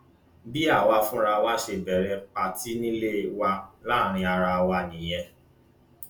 bí àwa fúnra wa ṣe bẹrẹ pàtì nílé wa láàrin ara wa nìyẹn